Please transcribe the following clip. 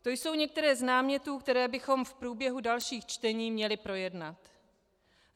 To jsou některé z námětů, které bychom v průběhu dalších čtení měli projednat.